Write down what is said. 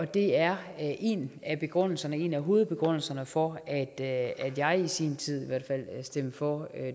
det er en af begrundelserne en af hovedbegrundelserne for at jeg i sin tid i hvert fald stemte for